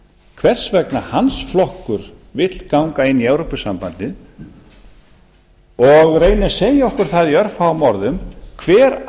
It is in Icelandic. hvers vegna hans flokkur vill ganga inn í evrópusambandið og reyni að segja okkur það í örfáum orðum hver